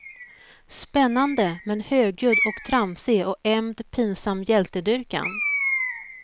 Spännande, men högljudd och tramsig och emd pinsam hjältedyrkan.